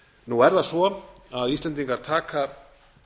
nú er laða á að íslendingar taka